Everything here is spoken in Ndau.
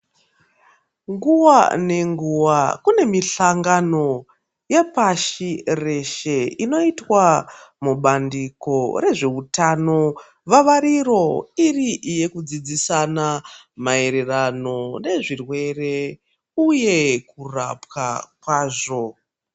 Nguwa ngenguwa kune mihlakano yepashi reshe inoitwa mubandiko rezvehutano vavariro iri yekudzidzisana maererano nezvirwere uye kurapwa kwazvo.